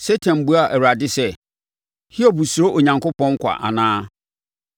Satan buaa Awurade sɛ, “Hiob suro Onyankopɔn kwa anaa?